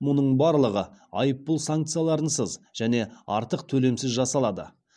мұның барлығы айыппұл санкцияларынсыз және артық төлемсіз жасалады